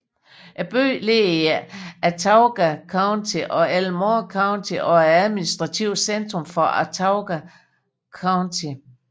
Byen ligger i Autauga County og Elmore County og er administrativt centrum for Autauga County